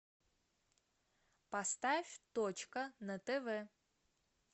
поставь точка на тв